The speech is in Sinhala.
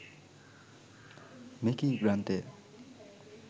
මෙකී ග්‍රන්ථය